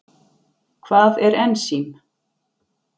Hvað er ensím?